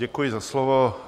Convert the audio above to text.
Děkuji za slovo.